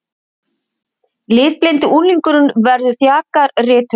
Litblindi unglingurinn verður þjakaður rithöfundur